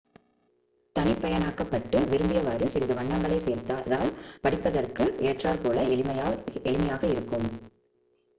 தனிப்பயனாக்கப்பட்டு விரும்பியவாறு சிறிது வண்ணங்களை சேர்த்தால் படிப்பதற்கு ஏற்றாற்போல் எளிமையாக இருக்கும்